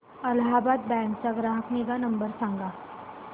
Allahabad bank चा ग्राहक निगा नंबर सांगा